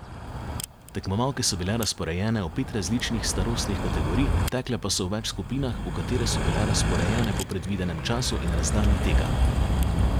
Tekmovalke so bile razporejene v pet različnih starostnih kategorij, tekle pa so v več skupinah, v katere so bile razporejene po predvidenem času in razdalji teka.